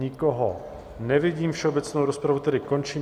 Nikoho nevidím, všeobecnou rozpravu tedy končím.